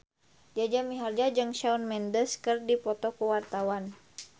Jaja Mihardja jeung Shawn Mendes keur dipoto ku wartawan